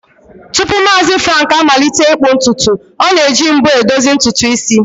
Tupu Maazi Frank amalite ịkpụ ntutu, o na-eji mbo e dozi ntutu isi